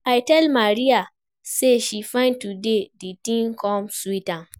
I tell Maria say she fine today, the thing come sweet am